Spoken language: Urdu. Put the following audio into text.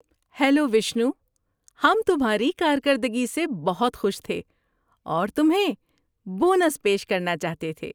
ہیلو وشنو، ہم تمھاری کارکردگی سے بہت خوش تھے اور تمھیں بونس پیش کرنا چاہتے تھے۔